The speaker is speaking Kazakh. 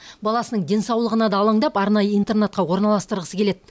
баласының денсаулығына да алаңдап арнайы интернатқа орналастырғысы келеді